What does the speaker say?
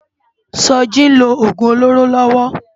Soji n ló ógún ólóró lòwò